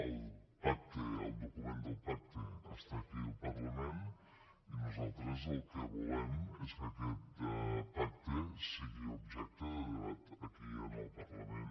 el document del pacte està aquí al parlament i nosaltres el que volem és que aquest pacte sigui objecte de debat aquí en el parlament